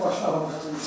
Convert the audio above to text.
Maşını qaldırmışam.